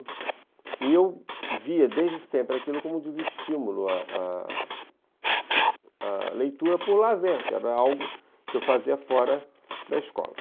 E eu via desde sempre aquilo como desestímulo à à à leitura por lazer, que era algo que eu fazia fora da escola.